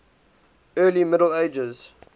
early middle ages